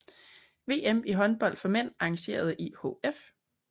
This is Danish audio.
VM i håndbold for mænd arrangeret af IHF